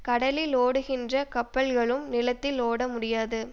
கடலில் ஓடுகின்ற கப்பல்களும் நிலத்தில் ஓட முடியாது